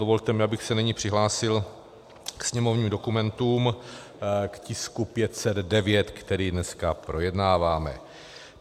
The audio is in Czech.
Dovolte mi, abych se nyní přihlásil k sněmovním dokumentům, k tisku 509, který dneska projednáváme.